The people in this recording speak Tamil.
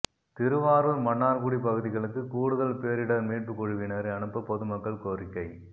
திருவாரூர் மன்னார்குடி பகுதிகளுக்கு கூடுதல் பேரிடர் மீட்பு குழுவினரை அனுப்ப பொதுமக்கள் கோரிக்கை